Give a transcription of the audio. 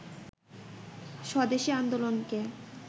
স্বদেশি আন্দোলনকে